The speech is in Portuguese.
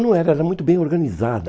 Não era, era muito bem organizada.